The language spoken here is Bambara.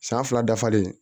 San fila dafalen